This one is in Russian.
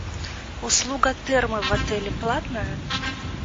услуга термо в отеле платная